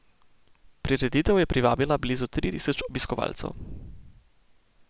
Prireditev je privabila blizu tri tisoč obiskovalcev.